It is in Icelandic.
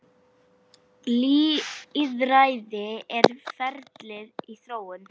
Lýðræði er ferli í þróun.